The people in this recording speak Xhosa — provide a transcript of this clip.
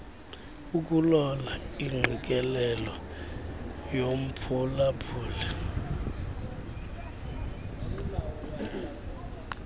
ukulola ingqikelelo yomphulaphuli